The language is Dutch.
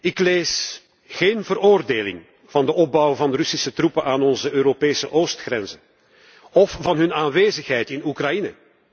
Ik lees geen veroordeling van de opbouw van Russische troepen aan onze Europese oostgrenzen of van hun aanwezigheid in Oekraïne.